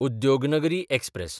Udyognagari express